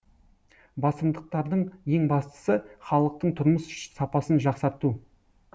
басымдықтардың ең бастысы халықтың тұрмыс сапасын жақсарту